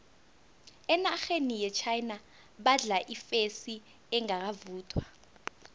enarheni yechina badla ifesi engakavuthwa